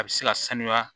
A bɛ se ka sanuya